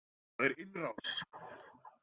Það er innrás!